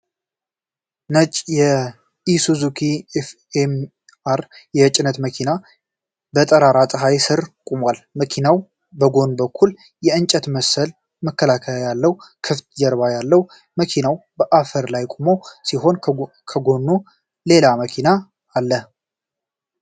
ነጭ የኢሱዙ ኤፍኤስአር የጭነት መኪና በጠራራ ፀሐይ ስር ቆሟል። መኪናው በጎን በኩል የእንጨት መሰል መከላከያ ያለው ክፍት ጀርባ አለው። መኪናው በአፈር ላይ የቆመ ሲሆን ከጎኑ ሌላ መኪና አሐ።